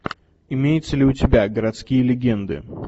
имеется ли у тебя городские легенды